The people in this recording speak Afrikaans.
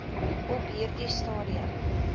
op hierdie stadium